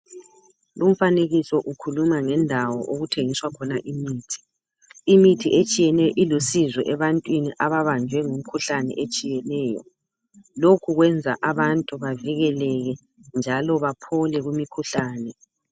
Lumfanekiso ukhuluma ngendawo okuthengiswa khona imithi, imithi etshiyeneyo ilusizo ebantwini ababanjwe ngumkhuhlane etshiyeneyo lokhu zwenza abantu bavikeleke njalo baphole kumikhuhlane.